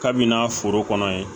Kabini n'a foro kɔnɔ yen